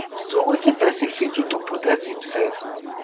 so wetin pesin fit do to protect imsef